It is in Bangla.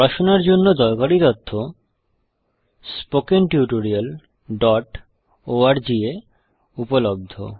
পড়াশোনার জন্য দরকারী তথ্য স্পোকেন tutorialorg এ উপলব্ধ